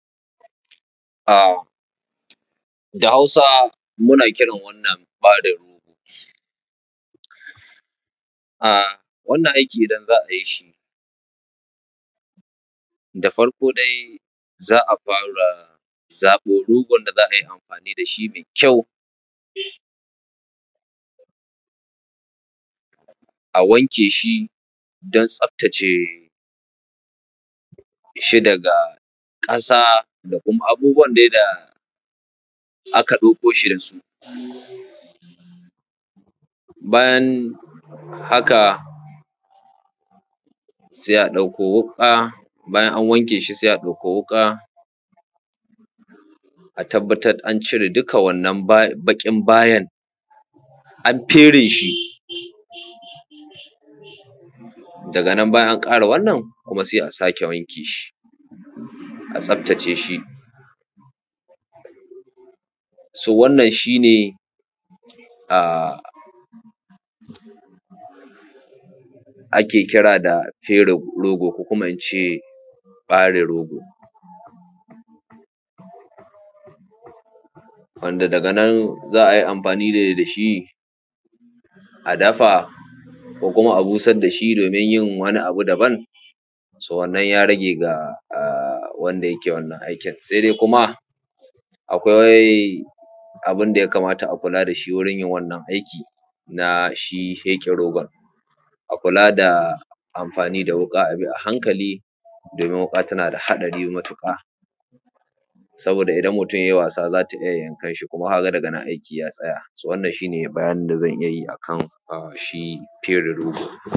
Da hausa muna kirana wannan ɓare rogo. Wannan aiki idan za a yi shi da farko dai za a fara zaɓo rogon da za a yi anfani da shi mai kyau a wanke shi don tsafatace shi daga ƙasa da kuma abubuwan dai da aka ɗauko shi da su. Bayan haka sai a ɗauko wuƙa bayan an wanke shi, sai a ɗauko wuƙa a tabattar da an cire duka wannan baƙin bayan, an fere shi, daga nan bayan an ƙare wannan kuma sai a sake wanke shi a tsaftaceshi. Wannan shi ne ake kira da fere rogo ko kuma ince ɓare rogo. Wanda daga nan za ai amfani ne da shi a dafa, ko kuma a busar da shi domin yin wani abu daban. Wannan ya rage ga wanda yake yinin wannan aikin. Sai dai kuma akwai abin da ya kamata a kula da shi wurin yin wannan aiki na shi feƙe rogon, akula da amfani da wuƙa a hankali domin wuƙa tana da haɗari matuƙa saboda idan mutun yayi wasa za ta iya yankan shi kuma ka ga daga nan aiki ya tsaya wannan shi ne bayanin da zan iya yi a kan shi fere rogo.